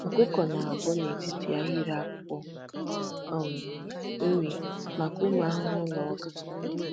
Ọkụkọ na-a bọọ n'etiti ahịrị akwụkwọ um nri maka ụmụ ahụhụ na ọka.